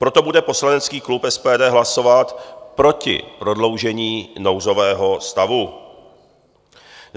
Proto bude poslanecký klub SPD hlasovat proti prodloužení nouzového stavu.